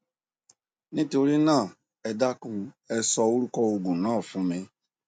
nítorí náà ẹ dákun ẹ sọ orúkọ òògùn náà fún mi